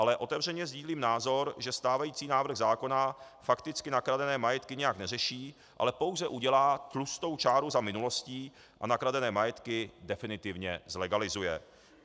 Ale otevřeně sdílím názor, že stávající návrh zákona fakticky nakradené majetky nijak neřeší, ale pouze udělá tlustou čáru za minulostí a nakradené majetky definitivně zlegalizuje.